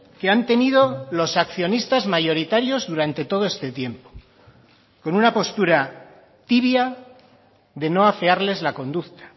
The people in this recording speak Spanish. que han tenido los accionistas mayoritarios durante todo este tiempo con una postura tibia de no afearles la conducta